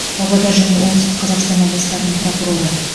павлодар және оңтүстік қазақстан облыстарының прокуроры